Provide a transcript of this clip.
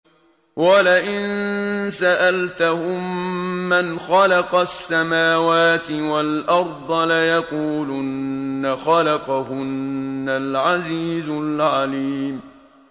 وَلَئِن سَأَلْتَهُم مَّنْ خَلَقَ السَّمَاوَاتِ وَالْأَرْضَ لَيَقُولُنَّ خَلَقَهُنَّ الْعَزِيزُ الْعَلِيمُ